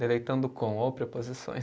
Deleitando com ou preposições.